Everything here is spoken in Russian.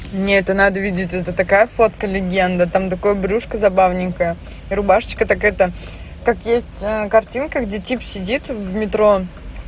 мне это надо видеть етат такая фотка сладкая легенда там такой брюшка забавная рубашечка так это как есть картинка где тип сидит в метро